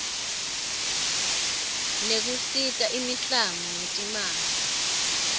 nekusita imiklamo ngetimali